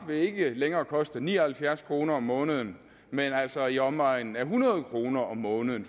vil ikke længere koste ni og halvfjerds kroner om måneden men altså i omegnen af hundrede kroner om måneden